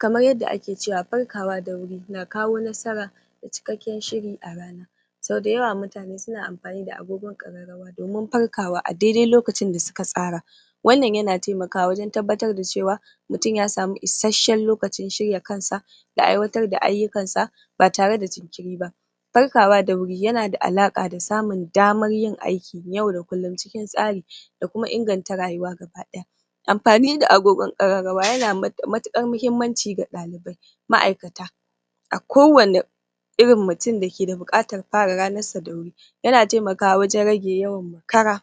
Kamar yanda ake cewa farkawa da wuri na kawo nasara da cikakken shiri a rana. So dayawa mutane suna amfani da agogo ƙararrawa. domin farkawa a daidai lokacin da suka tsara wannan yana taimakawa wajen tabbatar da cewa mutun ya samu isasshen lokacin shirya kansa da aiwatar da ayyukansa ba tare da jinkiri ba. Farkawa da wuri yana da alaƙa da samun damar yin aiki yau da kullum cikin tsari da kuma inganta rayuwa gaba ɗaya.. Anfani da agogon ƙararrawa yana da matukar muhimmanci ga ɗalubai ma'aikata, a kowani irin mutun da ke da buƙatar fara ranarsa da wuri Yana taimakawa wajen rage yawan makara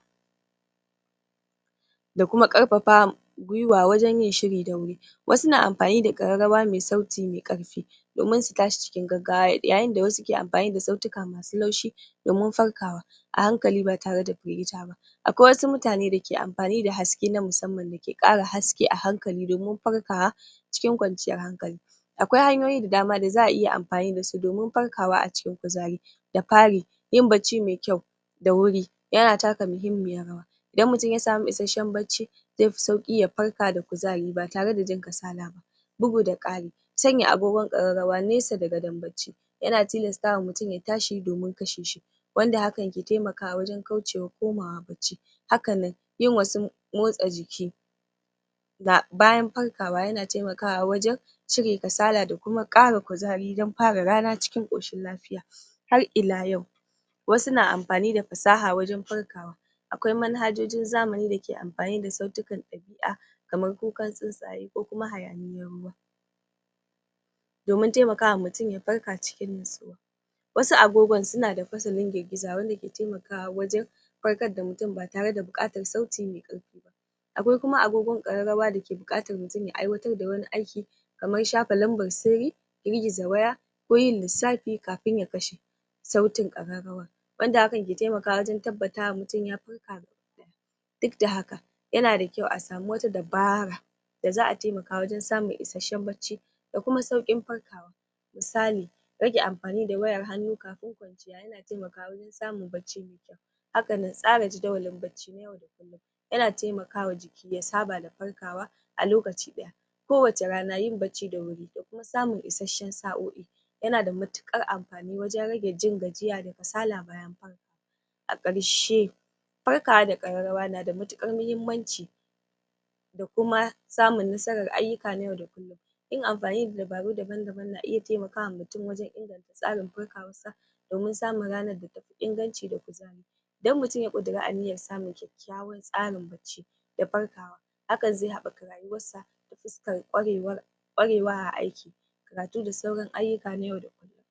da kuma ƙarfafa gwiwa wajen yin shiri da wuri. Wasu na anfani da ƙararrawa mai sauti mai ƙarfi domin su tashi cikin gaggawa yayin da wasu ke anfani da sautika mai laushi. domin farkawa a hankali ba tare da firgita ba. Akwai wasu mutane dake anfani da haske na musamman dake ƙara haske a hankali domin farkawa cikin kwanciyar hankali. Akwai hanyoyi da dama da za'ayi anfani dasu domin farkawa a cikin kuzari.. Da fari yin barci mai kyau da wuri yana taka muhimmiyar rawa idan mutum yasamu isheshiyar bacci zaifi sauki ya farka da kuzari batare da jin kasala ba Bugu da kari sanya agogon ƙararrawa nesa da gadon barci yana tilasta wa mutun ya tashi domin kashe shi wanda hakan ke taimakawa wajen kaucewa komawa barci Hakanan yin wasu motsa jiki bayan farkawa yana taimakawa wajan cire kasala da kuma kara kuzari dan fara rana cikin ƙoshin lafiya. Har ila yau wasu na anfani da fasaha wajen farkawa, akwai manhajojin zamani dake anfani da sautikan ɗabi'a kamar kukan tsuntsaye ko kuma hayaniyan ruwa. domin taimakawa mutun ya farka cikin natsuwa. Wasu agogon sunada fasalin jirjiza wanda ke taimakawa wajan farkar da mutun ba tare da buƙatar sauti mai ƙarfi ba. Akwai kuma agogon ƙararrawa dake buƙatar mutun ya aiwatar da wani aiki kaman shafa numbar sirri, girgiza waya ko yin lissafi kafin ya kashe sautin ƙararrawar. Wanda hakan ke taimakawa wajen tabbatar da mutan ya farka? Duk da haka yana da kyau asama wata dabara da za'a taimaka wajen samun isasshen bacci dakuma sauƙin farkawa. Misali rage anfani da wayar hannu kafin kwanciyar yana taimakawa wajen samun bacci mai kyau. Hakanan tsara jadawalin bacci na yau da kullum yana taimakawa jiki ya saba da farkawa a lokaci daya. Kowace rana yin bacci da wuri dakuma samun isasshen sa'o'i yana da matuƙar anfani wajen rage jin gajiya da kasala bayan an farkawa A ƙarshe farkawa da ƙararrawa na da matuƙar muhimmancin. dakuma samun nasarar ayyuka na yau da kullum. A ƙarshe farkawa da ƙararrawa na da matuƙar muhimmancin da kuma samun nasarar ayyuka na yau da kullum. Yin amfani da dabaru daban-daban na iya taimaka wa mutun 晚 wajan inganta tsari farkawarsa domin samun ranar da tafi inganci da kuzari. Idan mutum ya ƙudira aniyar samun kyakkyawan tsarin bacci da farkawa hakan zai haɓaka rayuwansa ta fuskar ƙwarewa a aiki, karatu da sauran ayyuka na yau da kullum.